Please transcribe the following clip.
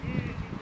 Yey.